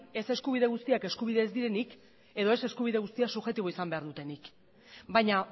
ez eskubide guztiak eskubide ez direnik edo ez eskubide guztiak subjektibo izan behar dutenik baina